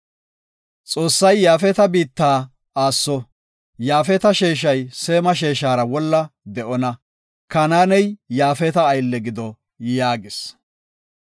Xoossay Yaafeta biitta aasso. Yaafeta sheeshay Seema sheeshara wolla de7onna; Kanaaney Yaafeta aylle gido” yaagis.